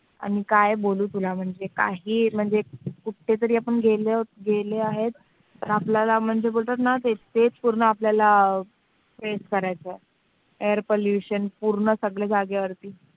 आणि काय बोलू तुला काही म्हणजे कुठे जरी गेलं तरी तर म्हणतात ते बोलतात ना आपल्याला बोलतात ना face करायचं आहे. air pollution पूर्ण जागेवर